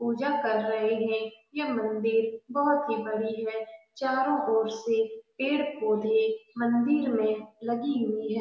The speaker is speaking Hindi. पूजा कर रहे हैं यह मंदिर बहोत ही बड़ी है चारों ओर से पेड़-पौधे मंदिर में लगी हुई हैं ।